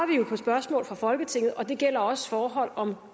på spørgsmål fra folketinget og det gælder også forhold om